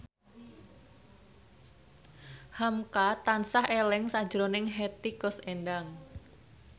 hamka tansah eling sakjroning Hetty Koes Endang